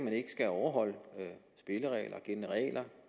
skal overholde spilleregler